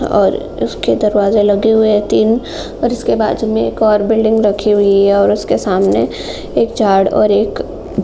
और उसके दरवाज़े लगे हुए है तीन और इसके बाज़ू में एक और बिल्डिंग रखी हुई है और उसके सामने एक झाड़ और एक--